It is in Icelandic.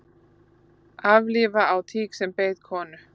Aflífa á tík sem beit konu